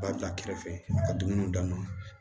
Ba bila kɛrɛfɛ a ka dumuniw d'a ma